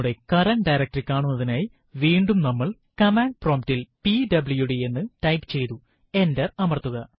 നമ്മുടെ current directory കാണുന്നതിനായി വീണ്ടും നമ്മൾ കമാൻഡ് പ്രോംപ്റ്റ് ൽ പിഡബ്ല്യുഡി എന്ന് ടൈപ്പ് ചെയ്തു എന്റര് അമർത്തുക